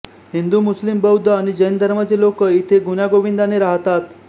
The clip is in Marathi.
हिंदुमुस्लिमबौद्ध आणि जैन धर्माचे लोक इथे गुण्यागोविंदने राहतात्